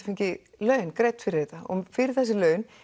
fengið laun fyrir þetta og fyrir þessi laun